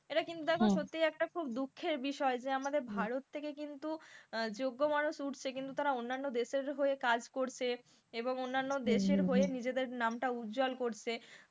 এটা কিন্তু এখন সত্যি একটা খুব দুঃখের বিষয় যে আমাদের ভারত থেকে কিন্তু যোগ্য মানুষ উঠছে কিন্তু তারা অন্যানো দেশের হয়ে কাজ করছে এবং অন্যান্য দেশের হয়ে নিজেদের নামটা উজ্জ্বল করছে,